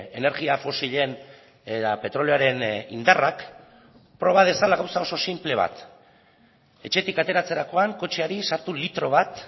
energia fosilen eta petroleoaren indarrak proba dezala gauza oso sinple bat etxetik ateratzerakoan kotxeari sartu litro bat